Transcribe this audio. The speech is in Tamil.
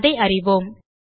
அதை அறிவோம்